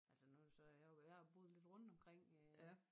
Altså nu så jeg har jo jeg har boet lidt rundt omkring øh